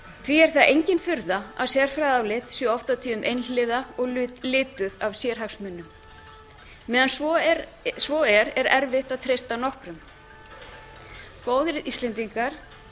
því er það engin furða að sérfræðiálit séu oft og tíðum einhliða og lituð af sérhagsmunum meðan svo er er erfitt að treysta nokkrum góðir íslendingar